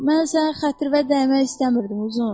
Mən sənin xətrinə dəymək istəmirdim, Uzun.